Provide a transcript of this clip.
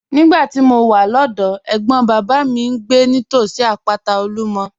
Nígbà tí mo wà lọ́dọ̀ọ́, ẹ̀gbọ́n bàbá mi ń gbé nítòsí àpáta Olumo.